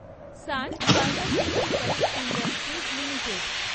San Pharmaceuticals Industries limited